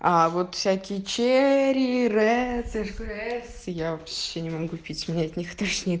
а вот всякие черри редсы я вообще не могу пить меня от них тошнит